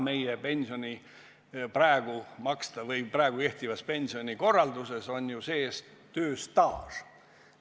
Meie praegu kehtivas pensionikorralduses on tööstaaž sees.